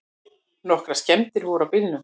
Nokkrar skemmdir voru á bílnum.